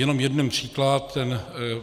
Jenom jeden příklad.